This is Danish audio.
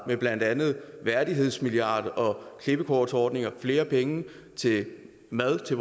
med blandt andet en værdighedsmilliard klippekortsordninger og flere penge til mad til